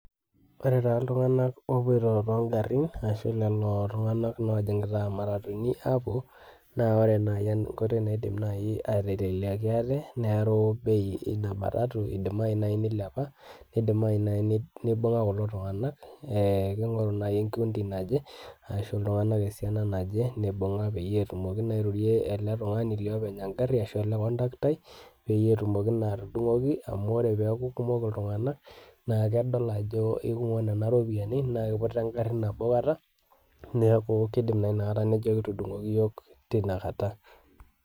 Ore taa iltung'anak opoito togarrin ashu lelo tung'anak lojing'ita matatuni apuo, na ore nai enkoitoi naidim nai aiteleliaki ate, neeru duo bei ina matatu idimayu nai nilepa, nidimayu nai nibung'a kulo tung'anak, ning'oru nai ekundi naje, ashu iltung'anak esiana naje, nibung'a peyie etumoki naa airorie ele tung'ani liopeny egarri ashu ele kontaktai, petumoki naa atudung'oki amu, ore peeku kumok iltung'anak naa kedol ajo ekumok nena ropiyiani na kiputa egarri nabo kata, neeku kidim naa nakata nejoki entudung'oki yiok tinakata.